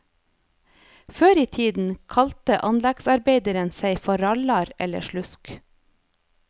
Før i tiden kalte anleggsarbeideren seg for rallar eller slusk.